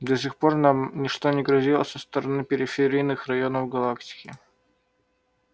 до сих пор нам ничто не грозило со стороны периферийных районов галактики